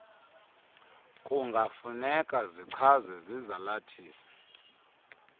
kungafuneka zichazwe zizalathisi